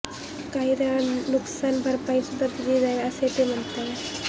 काही जणांना नुकसान भरपाई सुद्धा दिली जाईल असे ते म्हणाले